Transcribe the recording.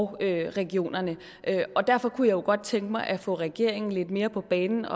regionerne derfor kunne jeg godt tænke mig at få regeringen lidt mere på banen